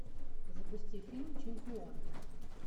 запусти фильм чемпион